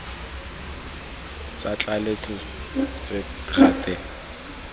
tsa tlaleletso tse ka gale